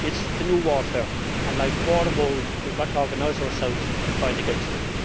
It is the new warfare and, like wars of old, we have got to organise ourselves to fight against it.